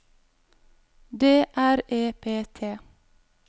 D R E P T